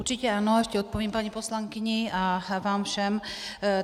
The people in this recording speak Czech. Určitě ano, ještě odpovím paní poslankyni a vám všem.